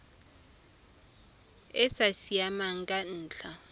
e sa siamang ka ntlha